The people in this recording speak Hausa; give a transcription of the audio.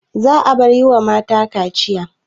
Za'a bar yiwa mata kaciya